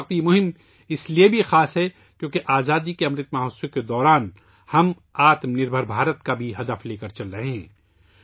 اس وقت یہ مہم اس لئے بھی خاص ہے کیونکہ آزادی کے امرت مہوتسو کے دوران ہم خود کفیل بھارت کا ہدف بھی لے کر چل رہے ہیں